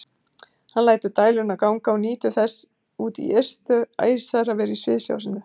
Hann lætur dæluna ganga og nýtur þess út í ystu æsar að vera í sviðsljósinu.